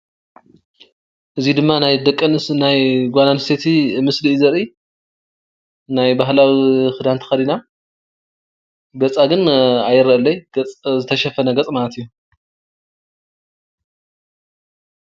እዚ ድማ ናይ ደቂ ኣንስትዮ ናይ ጓል ኣንስተይቲ ምስሊ እዩ ዘርኢ:: ናይ ባህላዊ ክዳን ተኸዲና ገፃ ግን ኣይረአን ዘሎ ገፅ ዝተሸፈነ ገፅ ማለት እዩ፡፡